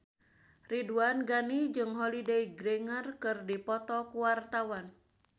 Ridwan Ghani jeung Holliday Grainger keur dipoto ku wartawan